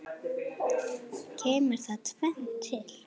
Kemur þar tvennt til.